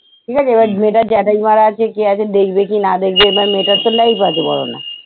ঠিক আছে এবার মেয়েটার জ্যাঠাই মা রা আছে, কে আছে দেখবে কি না দেখবে এবার মেয়েটার তো life আছে বলো না?